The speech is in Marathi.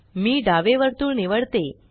मी डावे वर्तुळ निवडते